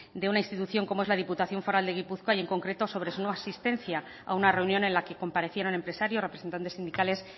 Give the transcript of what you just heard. de una intuición como es la diputación foral de gipuzkoa y en concreto sobre su no asistencia a una reunión en la que comparecieron empresarios representantes sindicales